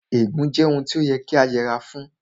Ègún jẹ́ ohun tí ó yẹ kí a yẹra fún